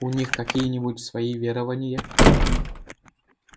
у них какие-нибудь свои верования